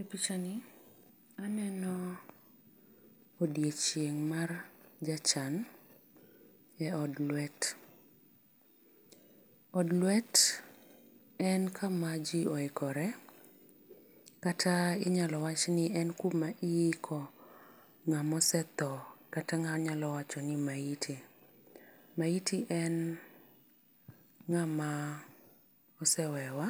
E picha ni ni aneno odiechieng' mar jachan e od ndwet. Od ndwet en ka ma ji ikore kata inyalo wach ni en kama iiko ng'ama osethoo kata ng'ama anyalo wacho ni maiti. Maiti en ng'ama osewewa